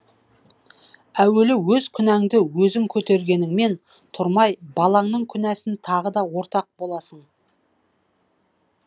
әуелі өз күнәңді өзің көтергеніңмен тұрмай балаңның күнәсін тағы да ортақ боласың